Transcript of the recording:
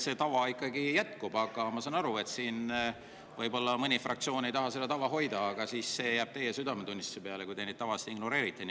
Ma saan aru, et siin mõni fraktsioon võib-olla ei taha seda tava hoida, aga siis jääb see teie südametunnistuse peale, kui te neid tavasid ignoreerite.